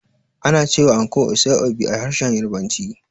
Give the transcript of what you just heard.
Ana cewa anko "Aso-ibe" a harshen Yarabanci.